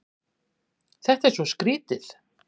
Þetta er svo skrýtið.